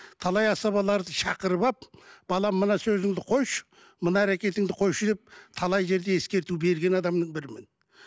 талай асабаларды шақырып алып балам мына сөзіңді қойшы мына әрекетіңді қойшы деп талай жерде ескерту берген адамның бірімін